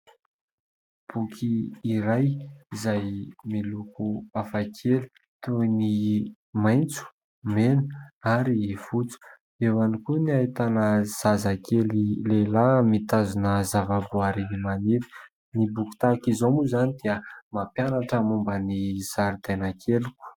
Boky iray izay miloko hafa kely toy ny maitso, mena ary fotsy eo ihany koa ny ahitana zazakely lehilahy mitazona zavaboary maniry. Ny boky tahaka izao moa izany dia mampianatra momba ny zaridaina keliko.